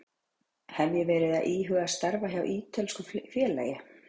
Hef ég verið að íhuga að starfa hjá ítölsku félagi?